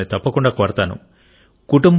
నేను మిమ్మల్ని తప్పకుండా కోరతాను